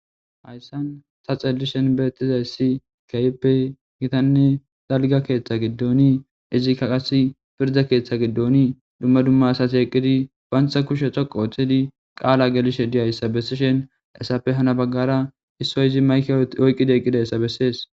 Hayssan saxelishen beettizayssi kayppe gitanne dalga keeththa giddoni izikka qasi pirda keeththa giddoni dumma dumma asati eqqidi bantha kushe coqo oththidi qaala gelishe diyayssa bessishen essappe hana baggara hissoy izi mayke oyqqidi eqqidayssa bessees.